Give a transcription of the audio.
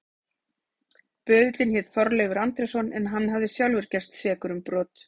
Böðullinn hét Þorleifur Andrésson en hann hafði sjálfur gerst sekur um brot.